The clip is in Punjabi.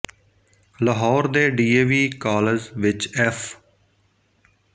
ਲਾਹੌਰ ਦੇ ਡੀ ਏ ਵੀ ਕਾਲਜ ਵਿੱਚ ਐੱਫ਼